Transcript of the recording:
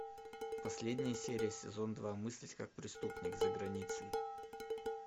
последняя серия сезон два мыслить как преступник за границей